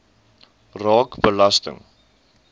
raak belasting